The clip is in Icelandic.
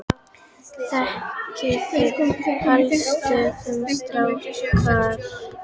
Þekkið þið hollustumerkið Skráargatið?